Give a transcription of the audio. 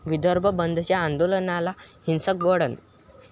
विदर्भ बंदच्या आंदोलनाला हिंसक वळण